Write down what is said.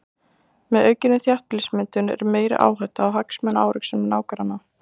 Með aukinni þéttbýlismyndun er meiri hætta á hagsmunaárekstrum nágranna.